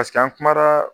an kumara